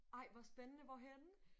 Ej hvor spændende! Hvorhenne?